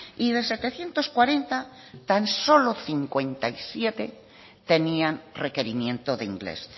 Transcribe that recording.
y de setecientos cuarenta tan solo cincuenta y siete tenían requerimiento de inglés